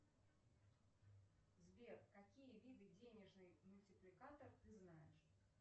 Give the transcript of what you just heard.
сбер какие виды денежный мультипликатор ты знаешь